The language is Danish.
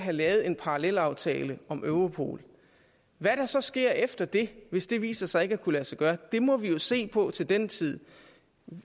have lavet en parallelaftale om europol hvad der så sker efter det hvis det viser sig ikke at kunne lade sig gøre må vi jo se på til den tid